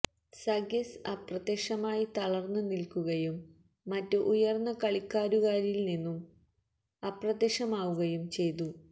സഗെസ് അപ്രത്യക്ഷമായി തളർന്ന് നിൽക്കുകയും മറ്റ് ഉയർന്ന കളിക്കാരുകാരിൽ നിന്നും അപ്രത്യക്ഷമാവുകയും ചെയ്തു